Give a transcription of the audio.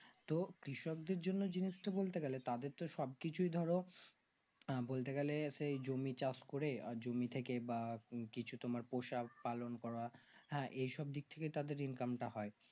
তো কৃষক দেড় জন্য জিনিস বলতে গেলে তাদের তো সবকিছু ধরো আঃ বলতে গেলে সেই জমি চাষ করে আর জমি থেকে বা কিছু তোমার পোষা পালন করা হ্যাঁ এই সব থেকেই তাদের ইনকাম তা হয়